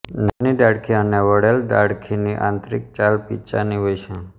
નાની ડાળખી અને વળેલ ડાળખીની આંતરીક છાલ પીંછાની હોય છે